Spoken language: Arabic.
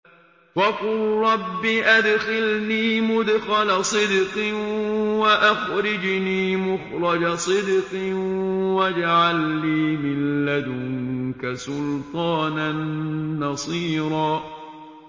وَقُل رَّبِّ أَدْخِلْنِي مُدْخَلَ صِدْقٍ وَأَخْرِجْنِي مُخْرَجَ صِدْقٍ وَاجْعَل لِّي مِن لَّدُنكَ سُلْطَانًا نَّصِيرًا